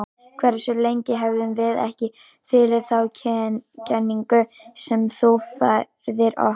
Hversu lengi höfum við ekki þulið þá kenningu sem þú færðir okkur?